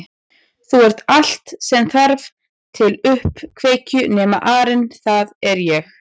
Þú ert allt sem þarf til uppkveikju nema arinn það er ég